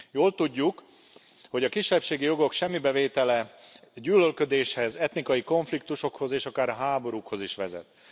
Jól tudjuk, hogy a kisebbségi jogok semmibevétele gyűlölködéshez, etnikai konfliktusokhoz és akár háborúkhoz is vezet.